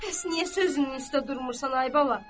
Bəs niyə sözünün üstə durmursan, ay bala?